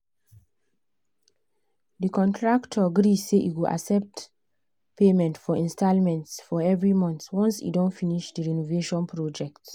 the contractor gree say e go accept payment for installments for every month once e don finish the renovation project.